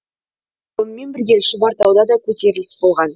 сонымен бірге шұбартауда да көтеріліс болған